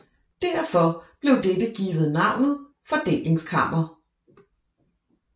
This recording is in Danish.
Derfor blev dette givet navnet fordelingskammer